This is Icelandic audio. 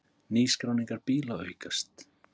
Nýskráningar bíla aukast